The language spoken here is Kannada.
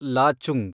ಲಾಚುಂಗ್